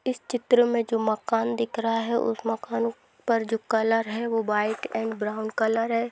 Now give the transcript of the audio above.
इस चित्र में जो मकान देख रहा है उस मकान पर जो कलर है वह व्हाइट और ब्राउन कलर है।